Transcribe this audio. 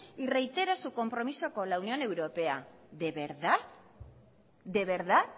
y reitera su compromiso con la unión europea de verdad de verdad